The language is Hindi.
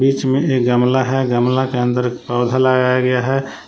बीच मे एक गमला है गमला के अंदर एक पौधा लगाया गया है।